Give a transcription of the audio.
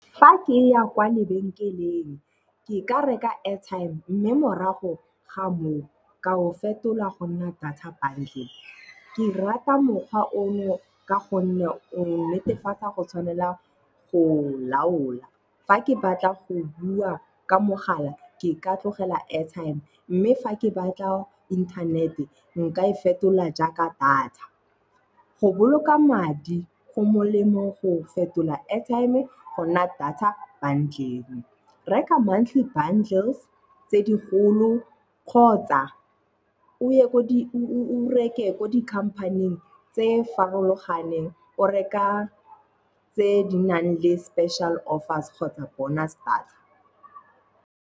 Fa ke ya kwa lebenkeleng ke ka reka airtime mme morago ga moo ka o fetola go nna data bundle. Ke rata mokgwa ono ka gonne o netefatsa go tshwanela go o laola. Fa ke batla go bua ka mogala, ke ka tlogela airtime mme fa ke batla internet-e nka e fetola jaaka data. Go boloka madi go molemo go fetola airtime gonna data bundle. Reka monthly bundles tse digolo kgotsa o reke ko di company-ing tse farologaneng o reka tse di nang le special offers kgotsa bonus data.